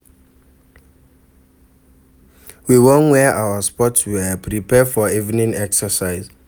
We wan wear our sports wear, prepare for evening exercise.